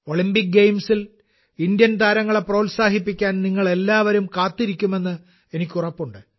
Olympic ഗെയിംസിൽ ഭാരതീയ താരങ്ങളെ പ്രോത്സാഹിപ്പിക്കാൻ നിങ്ങളെല്ലാവരും കാത്തിരിക്കുമെന്ന് എനിക്ക് ഉറപ്പുണ്ട്